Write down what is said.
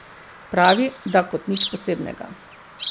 Pravi, da kot nič posebnega.